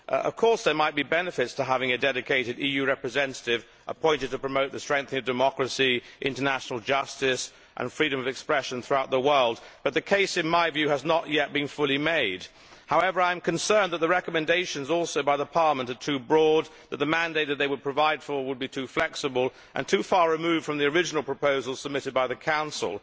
Of course, there might be benefits to having a dedicated EU representative appointed to promote the strengthening of democracy, international justice and freedom of expression throughout the world, but in my view the case has not yet been fully made. However, I am also concerned that the recommendations by Parliament are too broad, and that the mandate that they will provide for will be too flexible and too far removed from the original proposals submitted by the Council.